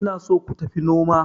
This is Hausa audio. ina so ku tafi noma